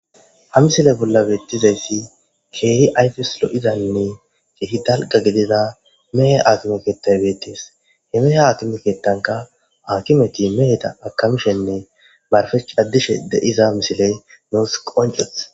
ha misile bolla beettizaysi keeri ayfis lo7izaynne keehi dalga gidida mehe aatimeketay beettes he mehe aakimekeettanka hakimeti meheta akamishenne marfe caddishe deiza misiley nuus qoncoth